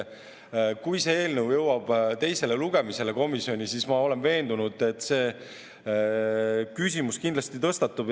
Ma olen veendunud, et kui see eelnõu jõuab teisele lugemisele komisjonis, siis see küsimus kindlasti tõstatub.